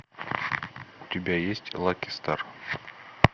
у тебя есть лаки стар